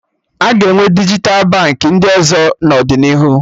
Aga enwe dijital Baankị ndụ ọzọ n'ọdịnihu